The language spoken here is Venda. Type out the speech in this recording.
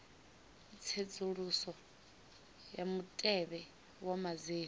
tsedzuluso ya mutevhe wa madzina